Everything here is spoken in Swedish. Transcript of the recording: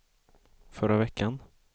förra veckan